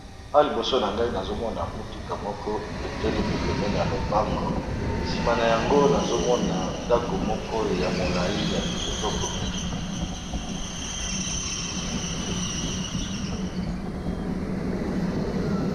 Awa liboso na ngai nazomona mutuka moko etelemi pemene ya lopango nsima na yango nazomona ndako moko ya molai ya kitoko mingi.